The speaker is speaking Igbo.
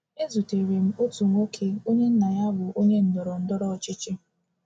Ezutere m otu nwoke onye nna ya bụ onye ndọrọ ndọrọ ọchịchị.